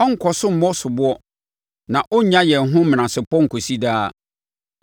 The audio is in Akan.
Ɔrenkɔ so mmɔ soboɔ, na ɔrennya yɛn ho menasepɔ nkɔsi daa;